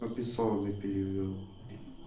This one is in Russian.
пописал не перевёл